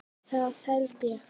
Það held ég